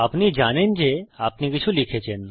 আপনি জানেন যে আপনি কিছু লিখেছেন